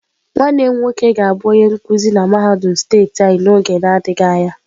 Nwannem nwoke ga-abu onye nkuzi na mahadum steeti anyi n'oge adighi anya.